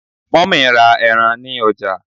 mummy ra eran ni ọjà